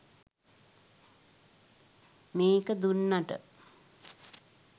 මේක දුන්නට